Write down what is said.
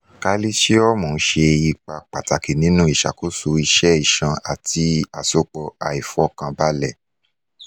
kalisiomu ṣe ipa pataki ninu iṣakoso iṣẹ iṣan ati asopọ aifọkanbalẹ